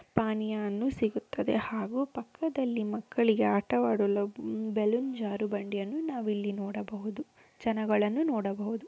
ಪಾನೀಯ ಅನ್ನು ಸಿಗುತ್ತದೆ ಹಾಗೂ ಪಕ್ಕದಲ್ಲಿ ಮಕ್ಕಳಿಗೆ ಆಟವಾಡಲು ಬಲೂನ್ ಜಾರ ಬಂಡಿಯನ್ನು ನಾವಿಲ್ಲಿ ನೋಡಬಹದು ಜನಗಳನ್ನು ನೋಡಬಹುದು.